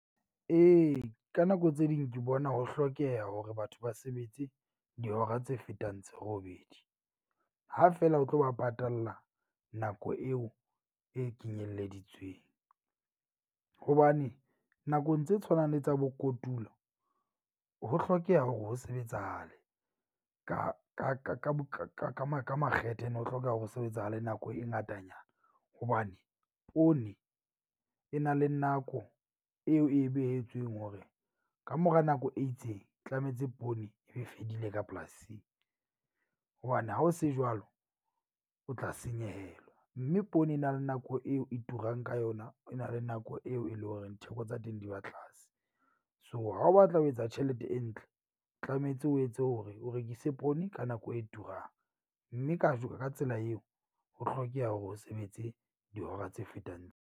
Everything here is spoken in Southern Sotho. Ee, ka nako tse ding ke bona ho hlokeha hore batho ba sebetse dihora tse fetang tse robedi. Ha fela o tlo ba patalla nako eo e kenyelleditsweng hobane nakong tse tshwanang le tsa bo kotulo, ho hlokeha hore ho sebetsahale ka ka makgethe ene, ho hlokeha ho sebetsahale nako e ngatanyana. Hobane poone e na le nako eo e behetsweng hore kamora nako e itseng tlametse poone ebe e fedile ka polasing. Hobane ha ho se jwalo, o tla senyehelwa, mme poone e na le nako eo e turang ka yona, e na le nako eo e leng horeng theko tsa teng di ba tlase. So, ha o batla ho etsa tjhelete e ntle, tlametse o etse hore o rekise poone ka nako e turang. Mme ka ka tsela eo, ho hlokeha hore o sebetse dihora tse fetang.